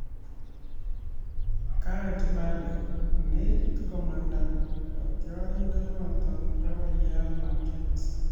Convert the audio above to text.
Gareth Bale:Nekit komanda kotiorindenito bo Real Madrid